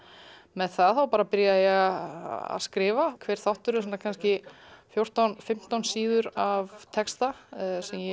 með það byrja ég að skrifa hver þáttur er kannski fjórtán fimmtán síður af texta sem ég